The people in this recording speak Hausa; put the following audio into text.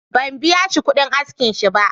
Ban biya shi kuɗin askinsa ba.